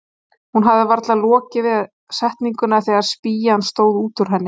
Hún hafði varla lokið við setninguna þegar spýjan stóð út úr henni.